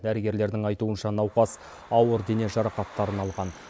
дәрігерлердің айтуынша науқас ауыр дене жарақаттарын алған